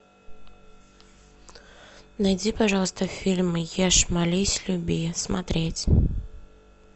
найди пожалуйста фильм ешь молись люби смотреть